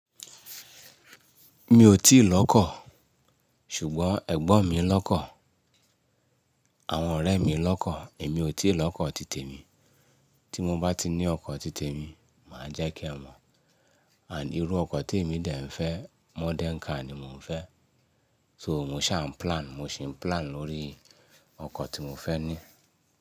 Mi ò tíì l'ọ́kọ̀, ṣùgbọ́n ẹ̀gbọ́n mi ń l'ọ́kọ̀, àwọn ọ̀rẹ́ mi ń l'ọ́kọ̀, èmi ò tíì l'ọ́kọ̀ títè mi. Tí mo bá ti ní ọkọ̀ títè mi, màá jẹ́ kí ẹ mọ̀. And irú ọkọ̀ tí èmi de n fẹ́, modern car ni mò ń fẹ́. So mò ń ṣà ń plan, mò ń ṣe plan lórí ọkọ̀ tí mò ń fẹ́ ní.